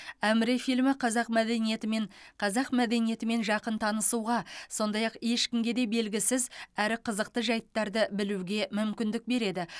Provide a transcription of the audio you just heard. әміре фильмі қазақ мәдениетімен қазақ мәдениетімен жақын танысуға сондай ақ ешкімге де белгісіз әрі қызықты жайттарды білуге мүмкіндік береді